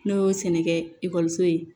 N'o y'o sɛnɛkɛ ekɔliso ye